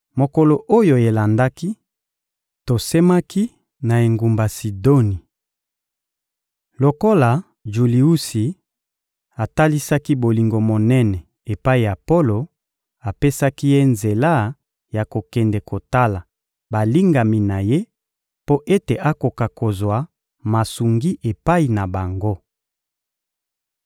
Mokolo oyo elandaki, tosemaki na engumba Sidoni. Lokola Juliusi atalisaki bolingo monene epai ya Polo, apesaki ye nzela ya kokende kotala balingami na ye mpo ete akoka kozwa masungi epai na bango.